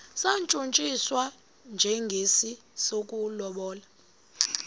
satshutshiswa njengesi sokulobola